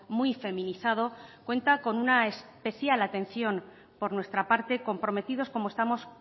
muy feminizado cuenta con una especial atención por nuestra parte comprometidos como estamos